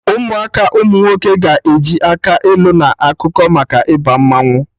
Ụmụaka umunwoke ga-eji akị ilu na ọkụkọ maka Ịba mmanwụ